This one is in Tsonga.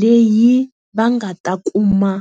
leyi va nga ta kuma .